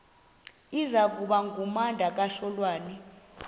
iza kuba ngumdakasholwana